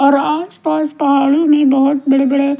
और आस पास पहाड़ी मैं बहुत बड़े बड़े--